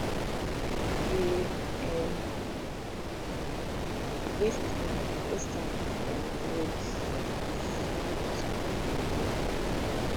we dey um waste um waste time for um road because di road don scatter